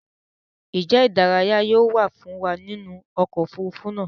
Njé ìdárayá yóò wá nínú oko òfurufú náa?